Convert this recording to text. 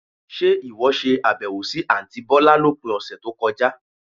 Ṣe ìwọ ṣe àbẹ̀wò sì àntí bọ̀lá lópin ọ̀sẹ̀ tó kọjá?